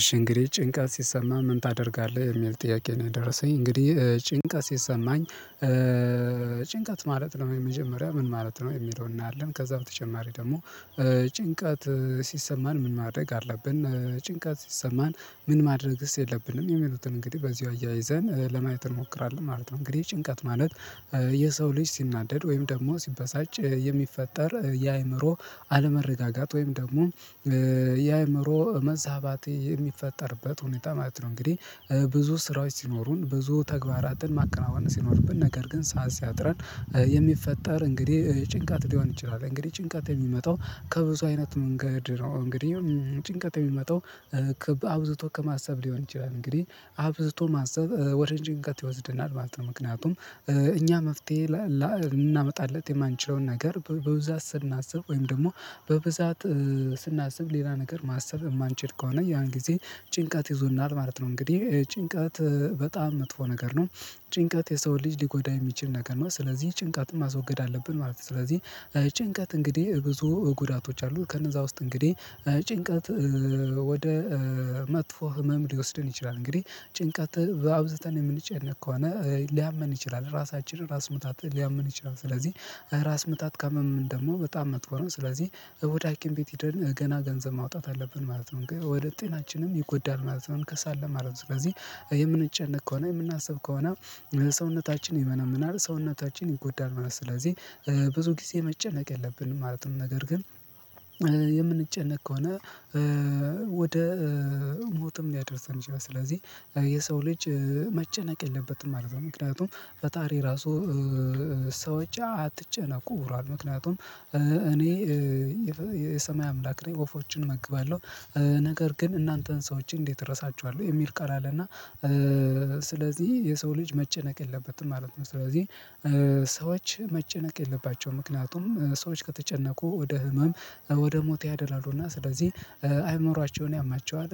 እሺ እንግዲህ ጭንቀት ሲሰማህ ምን ታደርጋለህ የሚል ጥያቄ ነው የደረሰኝ እንግዲህ ጭንቀት ሲሰማኝ። ጭንቀት ማለት ነው የመጀመሪያ ምን ማለት ነው የሚለውን እናያለን። ከዛ በተጨማሪ ደግሞ ጭንቀት ሲሰማን ምን ማድረግ አለብን። ጭንቀት ሲሰማን ምን ማድረግስ የለብንም የሚሉትን እንግዲህ በዚሁ አያይዘን ለማየት እንሞክራለን ማለት ነው። እንግዲህ ጭንቀት ማለት የሰው ልጅ ሲናደድ ወይም ደግሞ ሲበሳጭ የሚፈጠር የአእምሮ አለመረጋጋት ወይም ደግሞ የአእምሮ መዛባት የሚፈጠርበት ሁኔታ ማለት ነው። እንግዲህ ብዙ ስራዎች ሲኖሩን ብዙ ተግባራትን ማከናወን ሲኖርብን ነገር ግን ሰዓት ሲያጥረን የሚፈጠር እንግዲህ ጭንቀት ሊሆን ይችላል። እንግዲህ ጭንቀት የሚመጣው ከብዙ አይነት መንገድ ነው። እንግዲህ ጭንቀት የሚመጣው አብዝቶ ከማሰብ ሊሆን ይችላል። እንግዲህ አብዝቶ ማሰብ ወደ ጭንቀት ይወስድናል ማለት ነው። ምክንያቱም እኛ መፍትሄ ላናመጣለት የማንችለውን ነገር በብዛት ስናስብ ወይም ደግሞ በብዛት ስናስብ ሌላ ነገር ማሰብ የማንችል ከሆነ ያን ጊዜ ጭንቀት ይዞናል ማለት ነው። እንግዲህ ጭንቀት በጣም መጥፎ ነገር ነው። ጭንቀት የሰው ልጅ ሊጎዳ የሚችል ነገር ነው ስለዚህ ጭንቀትን ማስወገድ አለብን ማለት ነው። ስለዚህ ጭንቀት እንግዲህ ብዙ ጉዳቶች አሉ ከነዛ ውስጥ እንግዲህ ጭንቀት ወደ መጥፎ ህመም ሊወስደን ይችላል። እንግዲህ ጭንቀት በአብዝተን የምንጨነቅ ከሆነ ሊያመን ይችላል ራሳችን ራስ ምታት ሊያመን ይችላል። ስለዚህ ራስ ምታት ካመመን ደግሞ በጣም መጥፎ ነው ስለዚህ እ ወደ ሃኪም ቤት ሄደን ገና ገንዘብ ማውጣት አለብን ማለት ነው። ግን ወደ ጤናችንም ይጎዳል ማለት ነው። እንከሳለን ማለት ነው ስለዚህ የምንጨነቅ ከሆነ የምናስብ ከሆነ ሰውነታችን ይመነምናል ሰውነታችን ይጎዳል ማለት ነው። ስለዚህ ብዙ ጊዜ መጨነቅ የለብንም ማለትም ነገር ግን የምንጨነቅ ከሆነ ወደ ሞትም ሊያደርሰን ይችላል። ስለዚህ የሰው ልጅ መጨነቅ የለበትም ማለት ነው። ምክንያቱም ፈጣሪ ራሱ ሰዎች አትጨነቁ ብሏል ምክንያቱም እኔ የሰማይ አምላክ ነኝ ወፎችን እመግባለሁ ነገር ግን እናንተን ሰዎችን እንዴት እረሳቸዋለሁ? የሚል ቃል አለና ስለዚህ የሰው ልጅ መጨነቅ የለበትም ማለት ነው። ስለዚህ ሰዎች መጨነቅ የለባቸውም ምክንያቱም ሰዎች ከተጨነቁ ወደ ህመም ወደ ሞት ያደላሉና ስለዚህ አይምሯቸውን ያማቸዋል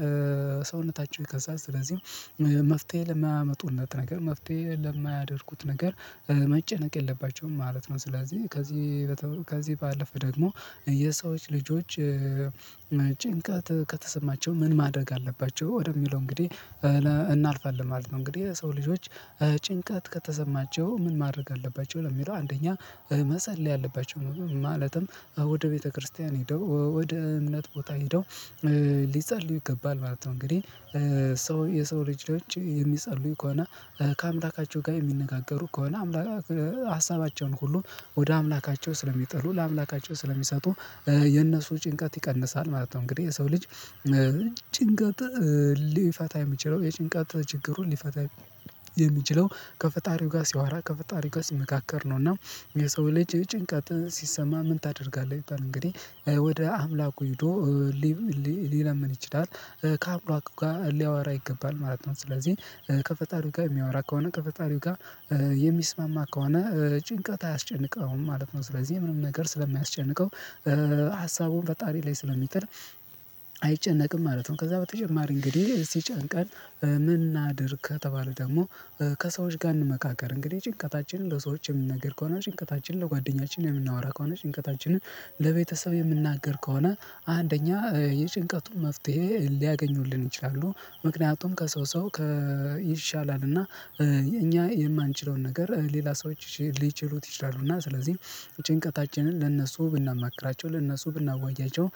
ሰውነታቸው ይከሳል። ስለዚህም መፍትሄ ለማያመጡለት ነገር መፍትሄ ለማያደርጉት ነገር መጨነቅ የለባቸውም ማለት ነው። ስለዚህ ከዚህ ከዚህ ባለፈ ደግሞ የሰዎች ልጆች ጭንቀት ከተሰማቸው ምን ማድረግ አለባቸው? ወደሚለው እንግዲህ እናልፋለን ማለት ነው። እንግዲህ ሰው ልጆች ጭንቀት ከተሰማቸው ምን ማድረግ አለባቸው ለሚለው አንደኛ መፀለይ አለባቸው። ማለትም ወደ ቤተክርስቲያን ሄደው ወደ እምነት ቦታ ሄደው ሊጸልዩ ይገባል ማለት ነው። እንግዲህ ሰው የሰው ልጆች የሚጸልዩ ከሆነ ከአምላካቸው ጋር የሚነጋገሩ ከሆነ ሀሳባቸውን ሁሉ ወደ አምላካቸው ስለሚጥሉ ለአምላካቸው ስለሚሰጡ የነሱ ጭንቀት ይቀንሳል ማለት ነው። እንግዲህ የሰው ልጅ ጭንቀት ሊፈታ የሚችለው የጭንቀት ችግሩን ሊፈታ የሚችለው ከፈጣሪው ጋር ሲያወራ ከፈጣሪው ጋር ሲመካከር ነው። እና የሰው ልጅ ጭንቀት ሲሰማ ምን ታደርጋለህ አይባል? እንግዲህ ወደ አምላኩ ሄዶ ሊለምን ይችላል ከአምላኩ ጋር ሊያወራ ይገባል ማለት ነው። ስለዚህ ከፈጣሪው ጋር የሚያወራ ከሆነ ከፈጣሪው ጋር የሚስማማ ከሆነ ጭንቀት አያስጨንቀውም ማለት ነው። ስለዚህ ምንም ነገር ስለማያስጨንቀው ሀሳቡን ፈጣሪ ላይ ስለሚጥል አይጨነቅም ማለት ነው። ከዛ በተጨማሪ እንግዲህ ሲጨንቀን ምን እናድርግ? ከተባለ ደግሞ ከሰዎች ጋር እንመካከር እንግዲህ ጭንቀታችንን ለሰዎች የምንነግር ከሆነ ጭንቀታችንን ለጓደኛችንን የምናወራ ከሆነ ጭንቀታችንን ለቤተሰብ የምንናገር ከሆነ አንደኛ የጭንቀቱን መፍትሄ ሊያገኙልን ይችላሉ ምክንያቱም ከሰው ሰው ይሻላል እና እኛ የማንችለውን ነገር ሌላ ሰዎች ሊችሉት ይችላሉ እና ስለዚህ ጭንቀታችንን ለእነሱ ብናማክራቸው ለእነሱ ብናዋያቸው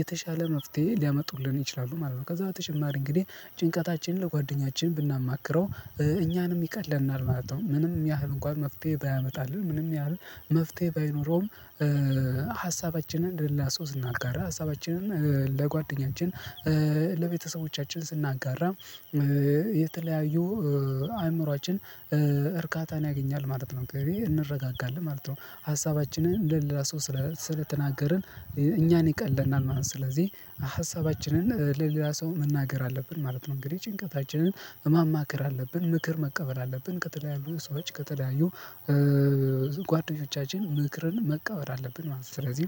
የተሻለ መፍትሄ ሊያመጡልን ይችላሉ ማለት ነው። ከዛ በተጨማሪ እንግዲህ ጭንቀታችንን ለጓደኛችን ብናማክረው እኛንም ይቀለናል ማለት ነው። ምንም ያህል እንኳን መፍትሄ ባያመጣልን ምንም ያህል መፍትሄ ባይኖረውም ሀሳባችንን ለሌላ ሰው ስናጋራ ሀሳባችንን ለጓደኛችን ለቤተሰቦቻችን ስናጋራ የተለያዩ አእምሮአችን እርካታን ያገኛል ማለት ነው እንረጋጋለን ማለት ነው። ሀሳባችንን ለሌላ ሰው ስለተናገርን እኛን ይቀለናል ማለት ነው። ስለዚህ ሀሳባችንን ለሌላ ሰው መናገር አለብን ማለት ነው። እንግዲህ ጭንቀታችንን ማማክር አለብን ምክር መቀበል አለብን ከተለያዩ ሰዎች ከተለያዩ ጓደኞቻችን ምክርን መቀበል አለብን ማለት ነው። ስለዚህ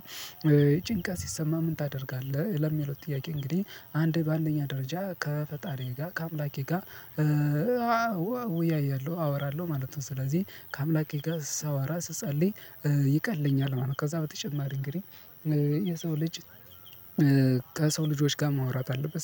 ጭንቀት ሲሰማህ ምን ታደርጋለህ? ለሚለው ጥያቄ እንግዲህ አንዴ ባአንደኛ ደረጃ ከፈጣሪዬ ጋር ከአምላኬ ጋር እወያያለሁ አወራለሁ ማለት ነው። ስለዚህ ከአምላኬ ጋር ሳዋራ ስጸልይ ይቀለኛል ማለት ነው። ከዛ በተጨማሪ እንግዲህ የሰው ልጅ ከሰው ልጆች ጋር ማውራት አለበት